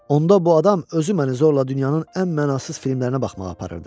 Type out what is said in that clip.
Onda bu adam özü məni zorla dünyanın ən mənasız filmlərinə baxmağa aparırdı.